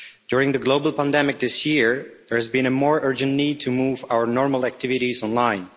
During the global pandemic this year, there has been a more urgent need to move our normal activities online.